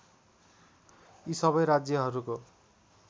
यी सबै राज्यहरूको